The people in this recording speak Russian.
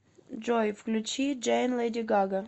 джой включи джейн леди гага